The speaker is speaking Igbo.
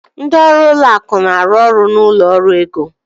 Ndị ọrụ ụlọ akụ na-arụ ọrụ na ụlọ ọrụ ego